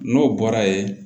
N'o bɔra ye